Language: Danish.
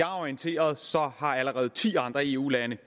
orienteret allerede ti andre eu lande